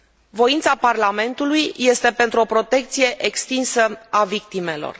Voința Parlamentului este pentru o protecție extinsă a victimelor.